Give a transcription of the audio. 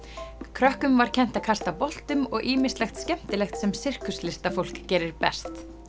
krökkum var kennt að kasta boltum og ýmislegt skemmtilegt sem gerir best